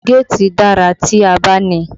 Géètì dára tí a bá ní i